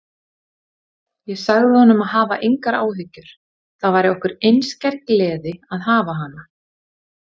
Ég sagði honum að hafa engar áhyggjur, það væri okkur einskær gleði að hafa hana.